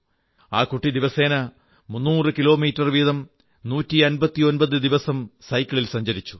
ആ കുട്ടി ദിവസേന 300 കിലോമീറ്റർ വീതം 159 ദിവസം സൈക്കിളിൽ സഞ്ചരിച്ചു